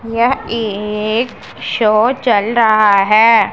यह एक शो चल रहा है।